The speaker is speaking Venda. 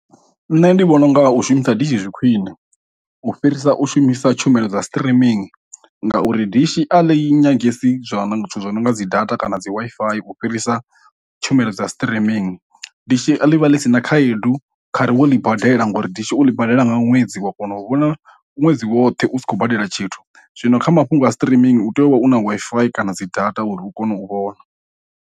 Nṋe ndi vhona unga u shumisa dishi zwi khwiṋe u fhirisa u shumisa tshumelo dza streaming, ngauri dishi a ḽi nyangesi zwo no nga zwithu zwo no nga dzi data kana dzi Wi-Fi u fhirisa tshumelo dza streaming. Dishi ḽi vha ḽi si na khaedu kha ri we ḽi badela ngori dishi u ḽi badela nga ṅwedzi wa kona u vhona ṅwedzi woṱhe u sa khou badela tshithu, zwino kha mafhungo a streaming u tea u vha u na Wi-Fi kana dzi data uri hu kone u vhona.